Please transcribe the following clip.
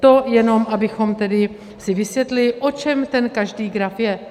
To jen abychom tedy si vysvětlili, o čem ten každý graf je.